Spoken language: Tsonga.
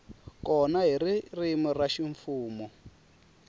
kona hi ririmi ra ximfumo